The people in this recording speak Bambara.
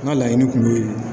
N ka laɲini tun bɛ yen